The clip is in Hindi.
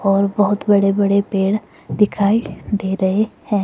और बहुत बड़े बड़े पेड़ दिखाई दे रहे हैं।